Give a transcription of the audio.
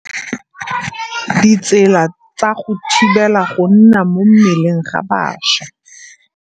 Ditsela tsa go thibela go nna mo mmeleng ga bašwa.